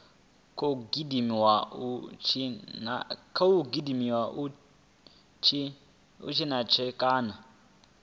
khou gudiwa u tshintsha kana